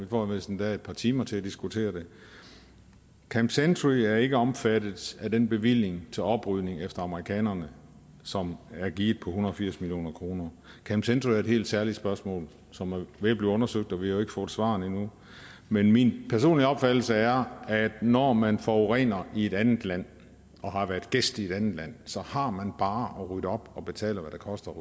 får vist endda et par timer til at diskutere det camp century er ikke omfattet af den bevilling til oprydning efter amerikanerne som er givet på en hundrede og firs million kroner camp century er et helt særligt spørgsmål som er ved at blive undersøgt og vi har jo ikke fået svarene endnu men min personlige opfattelse er at når man forurener i et andet land og har været gæst i et andet land har man bare at rydde op og betale hvad det koster at